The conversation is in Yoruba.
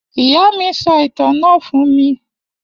Iya mi so itan na fun mi.